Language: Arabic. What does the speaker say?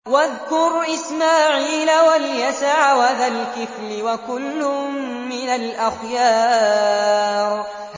وَاذْكُرْ إِسْمَاعِيلَ وَالْيَسَعَ وَذَا الْكِفْلِ ۖ وَكُلٌّ مِّنَ الْأَخْيَارِ